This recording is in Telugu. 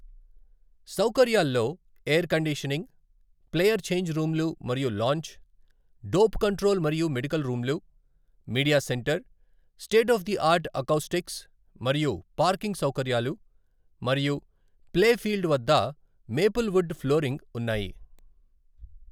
సౌకర్యాల్లో ఎయిర్ కండిషనింగ్, ప్లేయర్ ఛేంజ్ రూమ్‌లు మరియు లాంజ్, డోప్ కంట్రోల్ మరియు మెడికల్ రూమ్‌లు, media centre, state of the art acoustics మరియు పార్కింగ్ సౌకర్యాలు మరియు ప్లే ఫీల్డ్ వద్ద మేపుల్ వుడ్ ఫ్లోరింగ్ ఉన్నాయి.